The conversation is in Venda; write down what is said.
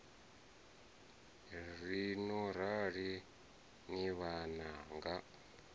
ri no rali ni vhananga